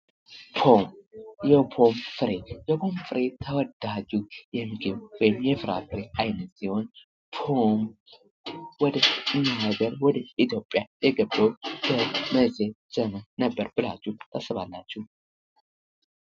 ፖም የፖም ፍሬ ተወዳጁ የምግብ ወይም የፍራፍሬ አይነት ሲሆን ፖም ወደኛ ሃገር ወደ ኢትዮጵያ የገባው በመቸ ዘመን ነበር ብላቹ ታስባላቹ?